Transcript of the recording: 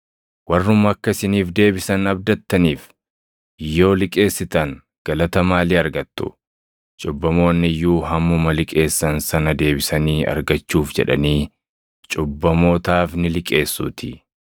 Warruma akka isiniif deebisan abdattaniif yoo liqeessitan galata maalii argattu? ‘Cubbamoonni iyyuu’ hammuma liqeessan sana deebisanii argachuuf jedhanii cubbamootaaf ni liqeessuutii.